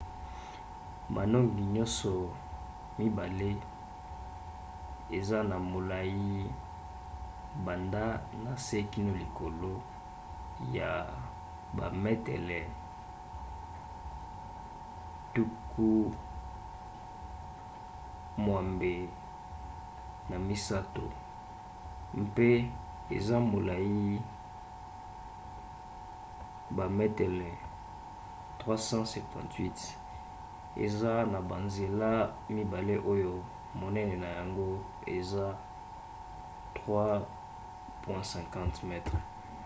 manongi nyonso mibale eza na molai banda na se kino likolo ya bametele 83 mpe eza molai na bametele 378 eza na banzela mibale oyo monene na yango eza 3,50 m